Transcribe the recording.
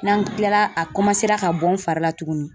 N'an kilala a kɔmansela ka bɔ n fari la tugunni.